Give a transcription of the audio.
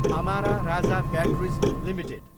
Amara Raja batteries Ltd